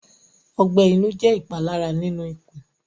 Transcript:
Ọgbẹ inu jẹ ipalara ninu ikun